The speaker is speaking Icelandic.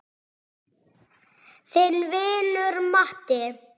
Þinn vinur Matti.